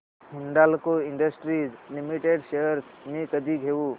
Hindalco Industries Limited shares मी कधी घेऊ